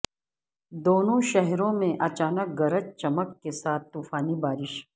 دونوں شہروں میں اچانک گرج چمک کے ساتھ طوفانی بارش